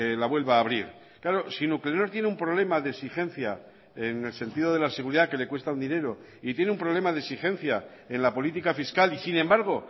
la vuelva a abrir claro si nuclenor tiene un problema de exigencia en el sentido de la seguridad que le cuesta un dinero y tiene un problema de exigencia en la política fiscal y sin embargo